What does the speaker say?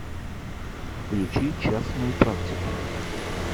включи частную практику